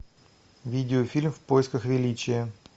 видеофильм в поисках величия